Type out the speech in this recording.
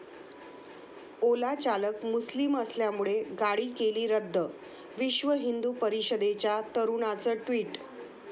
ओला चालक मुस्लिम असल्यामुळे गाडी केली रद्द', विश्व हिंदू परिषदेच्या तरुणाचं ट्विट